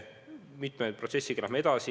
Mitme protsessiga me läheme edasi.